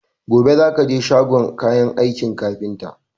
Gobe za ka je shagon kayan aikin kafinta!